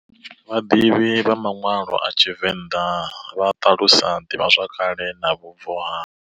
Vhadivhi vha manwalo a TshiVenda vha talusa divha zwakale na vhubvo ha.